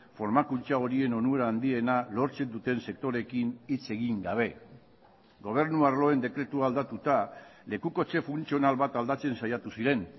formakuntza horien onura handiena lortzen duten sektoreekin hitz egin gabe gobernu arloen dekretua aldatuta lekukotze funtzional bat aldatzen saiatu ziren